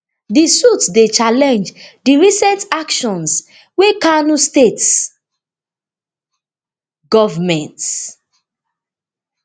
di suit dey challenge di recent actions wey kano state government